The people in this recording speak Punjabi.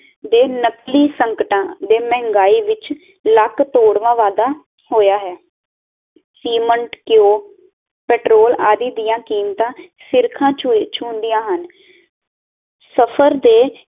ਦੇ ਨਕਲੀ ਸਕਟਾ ਦੇ ਮਹਿੰਗਾਈ ਵਿੱਚ ਲੱਕ ਤੋੜਵਾਂ ਵਾਧਾ ਹੋਇਆ ਹੈ ਸੀਮੰਟ ਕੀਓ ਪੈਟਰੋਲ ਆਦਿ ਦੀਆ ਕੀਮਤਾਂ ਸਿਖਰਾਂ ਸ਼ੁਨਦੀਆਂ ਹਨ ਸਫ਼ਰ ਦੇ